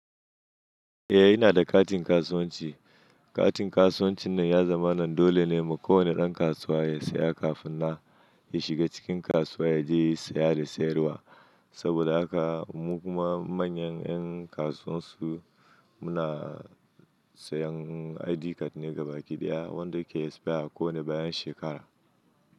Eh ina da katin kasuwanci. Katin kasuwanci nan ya zamanan dole ne ma kowane ɗan kasuwa ya siya kafin na ya shiga cikin kasuwa ya je yi siya da siyarwa. Saboda haka mu kuma manyan yan kasuwan su muna sayan ID card na gabaki ɗaya wanda yake expire a kowane bayan shekara.